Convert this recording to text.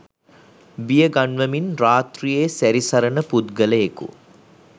බියගන්වමින් රාත්‍රියේ සැරිසරන පුද්ගලයෙකු